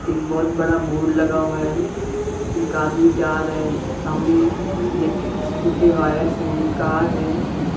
एक बहुत बड़ा बोर्ड लगा हुआ है एक आदमी जा रहा है सामने इलेक्ट्रिसिटी के वायर्स हैं कार हैं।